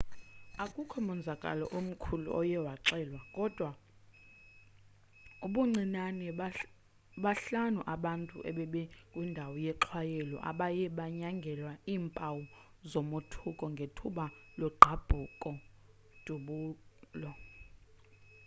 akukho monzakalo omkhulu oye waxelwa kodwa ubuncinane bahlanu abantu ebebekwindawo yexhwayelo abaye banyangelwa iimpawu zomothuko ngethuba logqabhuko dubulo